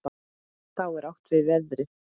Þá er átt við veðrið.